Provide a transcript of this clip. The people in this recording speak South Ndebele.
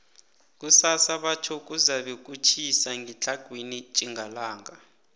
kusasa batjho kuzabe kutjhisa ngetlhagwini tjhingalanga